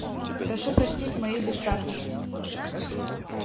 прошу простить мою бестактность